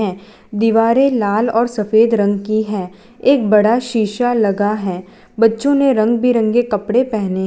दीवारे लाल और सफेद रंग की है एक बड़ा शीशा लगा है बच्चों ने रंग बिरंगे कपड़े पहने --